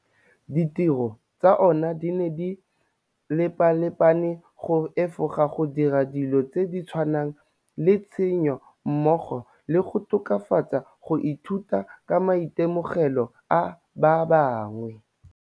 Ditiro tsa ona di ne di lepalepane go efoga go dira dilo tse di tshwanang le tshenyo mmogo le go tokafatsa go ithuta ka maitemogelo a ba bangwe.